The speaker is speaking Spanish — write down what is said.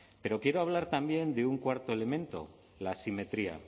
pero quiero hablar también de un cuarto elemento la asimetría